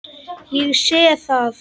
Ég sé það.